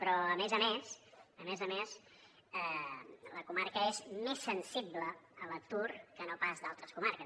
però a més a més a més a més la comarca és més sensible a l’atur que no pas altres comarques